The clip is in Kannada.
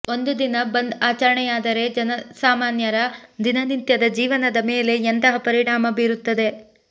ಒಂದು ದಿನ ಬಂದ್ ಆಚರಣೆಯಾದರೆ ಜನಸಾಮಾನ್ಯರ ದಿನನಿತ್ಯದ ಜೀವನದ ಮೇಲೆ ಎಂತಹ ಪರಿಣಾಮ ಬೀರುತ್ತದೆ